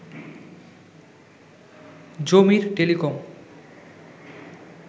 জমির টেলিকম